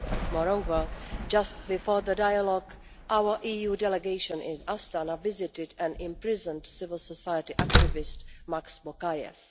Moreover, just before the dialogue, our EU delegation in Astana visited an imprisoned civil society activist, Max Bokayev.